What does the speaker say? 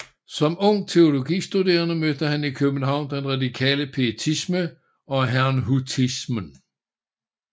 Som ung teologistuderende mødte han i København den radikale pietisme og herrnhutismen